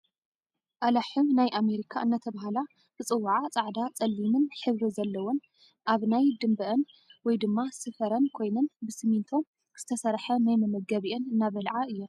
ኣላሕም ናይ ኣመሪካ እናተበሃላ ዝፅዉዓ ፃዕዳ ፀሊምን ሕብሪ ዘለወን ኣብ ናይ ድምበኣን ውይ ድማ ስፈረን ኮይነን ብስሚንቶ ዝትሰርሐ ናይ መመግቢኣን እናብልዓ እይን ።